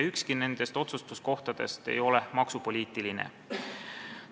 Ükski nendest otsustuskohtadest ei ole maksupoliitiline.